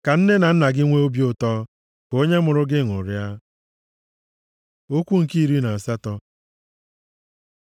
Ka nne na nna gị nwee obi ụtọ. Ka onye mụrụ gị ṅụrịa. Okwu nke iri na asatọ